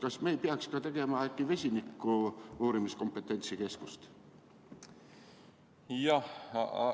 Kas me ei peaks äkki tegema ka vesiniku kompetentsikeskust?